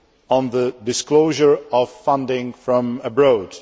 on the disclosure of funding from abroad'.